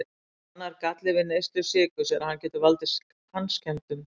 Annar galli við neyslu sykurs er að hann getur valdið tannskemmdum.